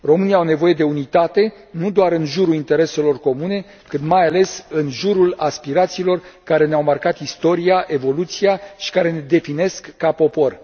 Românii au nevoie de unitate, nu doar în jurul intereselor comune, cât, mai ales, în jurul aspirațiilor care ne au marcat istoria, evoluția și care ne definesc ca popor.